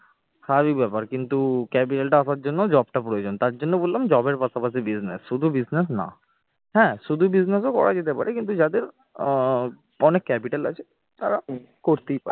স্বাভাবিক ব্যাপার কিন্তু capital টা আসার জন্য job টা প্রয়োজন তার জন্য বললাম job টার পাশাপাশি business শুধু business না, হ্যাঁ শুধু business ও করা যেতে পারে কিন্তু যাদের আহ অনেক capital আছে তারা করতেই পারে